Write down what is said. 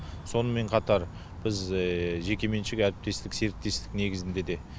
сонымен қатар біз жекеменшік әріптестік серіктестік негізінде де